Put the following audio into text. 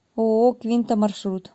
ооо квинта маршрут